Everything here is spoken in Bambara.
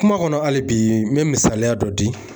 Kuma kɔnɔ hali bi n bɛ misaliya dɔ di